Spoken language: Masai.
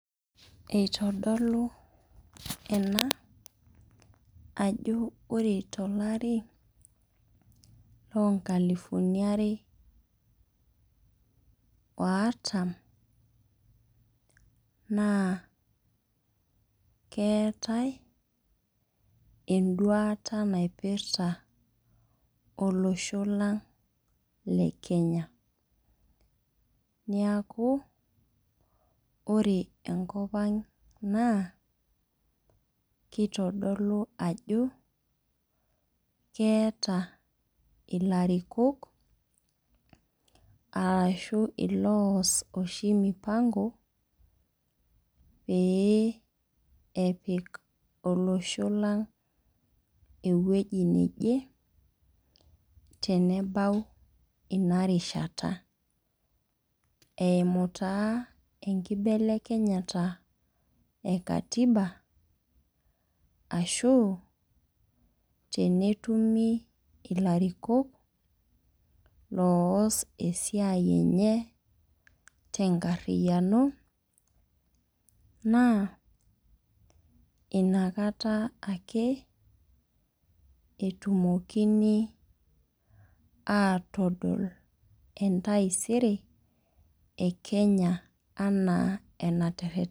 Eitodolu ena ajo ore tolari lonkalifuni are ortam, naa keetae eduata naipirta olosho lang' le Kenya. Niaku, ore enkop ang' naa, kitodolu ajo, keeta ilarikok, arashu ilos oshi mipango, pee epik olosho lang' ewueji neje, tenebau inarishata. Eimu taa enkibelekenyata e katiba, ashu tenetumi ilariko loos esiai enye tenkarriyiano. Naa, inakata ake etumokini atodol entaisere e Kenya anaa ena terrene.